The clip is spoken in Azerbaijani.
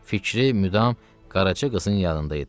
Fikri müdam Qaraca qızın yanında idi.